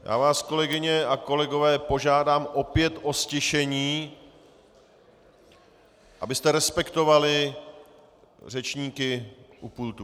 Já vás, kolegyně a kolegové, požádám opět o ztišení, abyste respektovali řečníky u pultu.